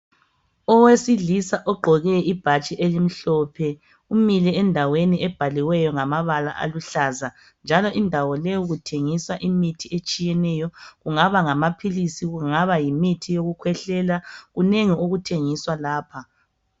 Owesilisa ogqoke ibhatshi elimhlophe. Umile endaweni ebhaliweyo ngamabala aluhlaza, njalo indawo leyo kuthengiswa imithi etshiyeneyo. Kungaba ngamaphilisi, kungaba yimuthi yokukhwehlela. Kunengi okuthengiswa lapha.